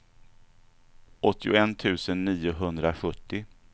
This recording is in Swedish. åttioett tusen niohundrasjuttio